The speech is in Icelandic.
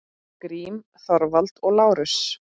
Grím, Þorvald og Lárus.